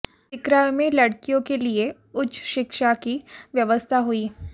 सिकराय में लड़कियों के लिए उच्च शिक्षा की व्यवस्था हुई